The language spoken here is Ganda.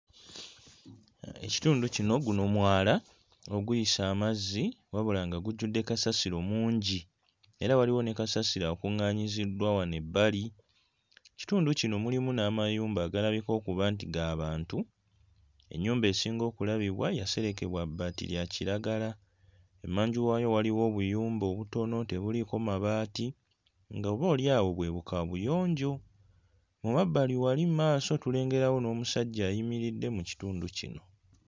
Ekitundu kino, guno mwala oguyisa amazzi, wabula nga gujjudde kasasiro mungi era waliwo ne kasasiro akung'aanyiziddwa wano ebbali. Ekitundu kino kirimu n'amayumba agalabika okuba nti ga bantu. Ennyumba esinga okulabibwa yaserekebwa bbaati lya kiragala. Emmanju waayo waliyo obuyumba obutono tebuliiko mabaati nga oba oli awo bwe bukaabuyonjo. Mu mabbali wali maaso tulengerawo n'omusajja ayimiridde mu kitundu kino.